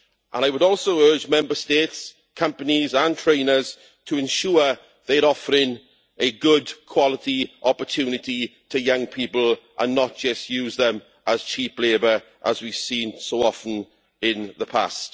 I would also urge Member States, companies and trainers to ensure they are offering a good quality opportunity to young people and not just use them as cheap labour, as we have seen so often in the past.